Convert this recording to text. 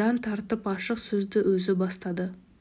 жан тартып ашық сөзді өзі бастады